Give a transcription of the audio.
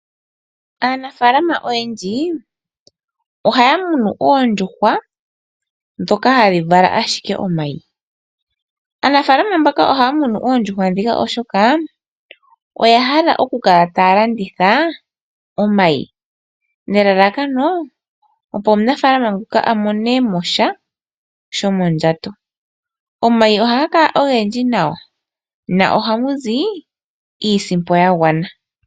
Aanafaalama oyendji ohaya munu oondjuhwa ndhoka hadhi vala ashike omayi. Aanafaalama mbaka ohaya munu oondjuhwa ndhika oshoka oya hala oku kala taya landitha omayi nelalakano opo omunafaalama nguka a mone mo sha shomondjato. Omayi ohaga kala ogendji nawa nohamuzi iisimpo ya gwana.